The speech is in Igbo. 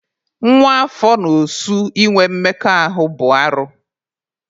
Nwa afọ na osu ịnwe mmekọ ahụ bụ arụ.